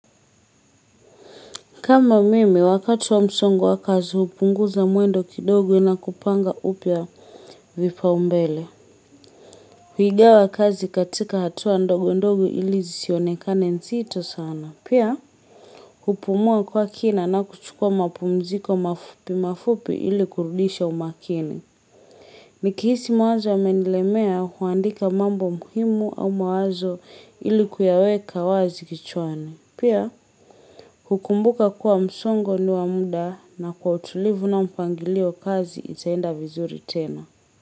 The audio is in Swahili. Kama mimi, wakati wa msongo wa kazi hupunguza mwendo kidogo na kupanga upya vipaumbele. Huigawa kazi katika hatua ndogo ndogo ili zisionekane mzito sana. Pia, hupumua kwa kina na kuchukua mapumziko mafupi mafupi ili kurudisha umakini. Nikihisi mawazo yamenilemea huandika mambo muhimu au mawazo ili kuyaweka wazi kichwani. Pia, hukumbuka kuwa msongo ni wa muda na kwa utulivu na mpangilio kazi itaenda vizuri tena.